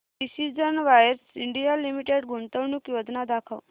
precision wires India limited गुंतवणूक योजना दाखव